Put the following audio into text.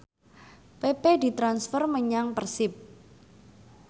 pepe ditransfer menyang Persib